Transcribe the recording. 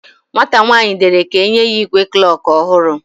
Nwata nwanyi dere ka enye ya igwe klokin ohuru